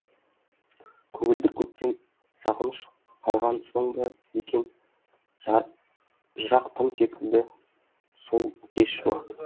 көгілдір көктем сағыныш қалған соң ба екен жырақ тым секілді сол кез шуақты